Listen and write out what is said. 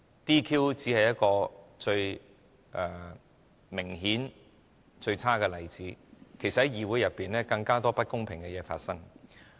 "DQ" 只是一個最明顯及最差的例子，其實在議會內有更多不公平的事情在發生。